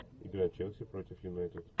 игра челси против юнайтед